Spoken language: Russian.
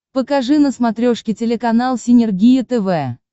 покажи на смотрешке телеканал синергия тв